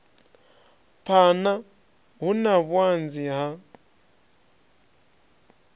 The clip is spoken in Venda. phana hu na vhuanzi ha